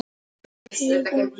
Nei, heyrðu mig.